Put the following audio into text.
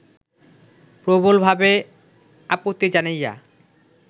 প্রবলভাবে আপত্তি জানাইয়া